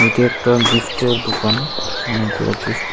এটি একটা গিফটের দোকান অনেকগুলো গিফ্ট --